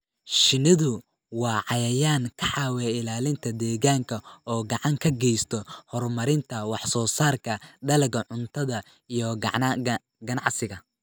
Shinnidu waa cayayaan ka caawiya ilaalinta deegaanka oo gacan ka geysta horumarinta wax soo saarka dalagga cuntada iyo ganacsiga.